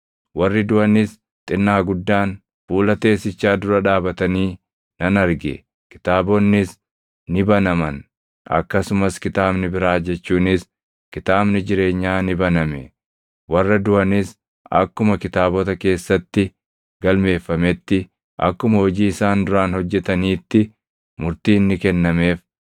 Warri duʼanis xinnaa guddaan fuula teessichaa dura dhaabatanii nan arge; kitaabonnis ni banaman; akkasumas kitaabni biraa jechuunis kitaabni jireenyaa ni baname. Warra duʼanis akkuma kitaabota keessatti galmeeffametti, akkuma hojii isaan duraan hojjetaniitti murtiin ni kennameef.